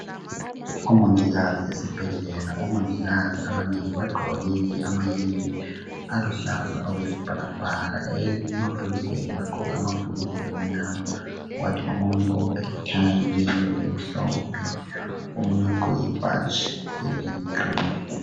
Omongikazi esibhedlela, omongikazi abanengi bagqoke amayembe aluhlaza okwesibhakabhaka, emabhulugweni bagqoke amabhulugwe amunyama, kwathi omunye obophe i"tie" leyembe emhlophe, omunye ugqoke ibhatshi eliyi "green".